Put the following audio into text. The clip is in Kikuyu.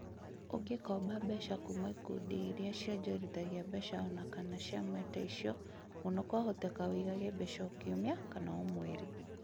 ũngĩ komba mbeca kuuma kũrĩ ikundi iria ciongorithagia mbeca ona kana ciama taicio mũno kwahoteteka ũigage mbeca O kiumia kana O mweri.